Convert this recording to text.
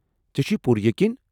ژےٚ چھٗیہِ پوٗرٕیقین؟